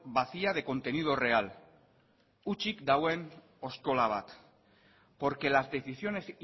vacía de contenido real utzik dagoen oskola bat porque las decisiones